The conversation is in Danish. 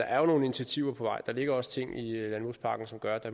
er nogle initiativer på vej der ligger også nogle ting i landbrugspakken som gør at